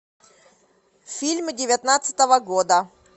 фильмы девятнадцатого года